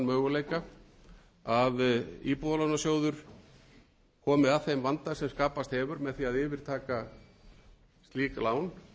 möguleika að íbúðalánasjóður komi að þeim vanda sem skapast hefur með því að yfirtaka slík lán og mundi það geta